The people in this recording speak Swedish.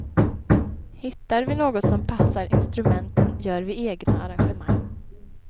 Hittar vi något som passar instrumenten gör vi egna arrangemang.